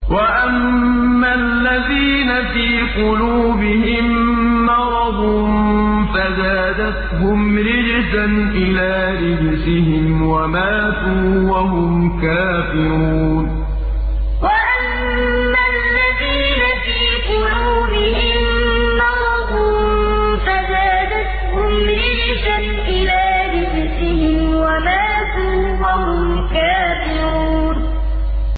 وَأَمَّا الَّذِينَ فِي قُلُوبِهِم مَّرَضٌ فَزَادَتْهُمْ رِجْسًا إِلَىٰ رِجْسِهِمْ وَمَاتُوا وَهُمْ كَافِرُونَ وَأَمَّا الَّذِينَ فِي قُلُوبِهِم مَّرَضٌ فَزَادَتْهُمْ رِجْسًا إِلَىٰ رِجْسِهِمْ وَمَاتُوا وَهُمْ كَافِرُونَ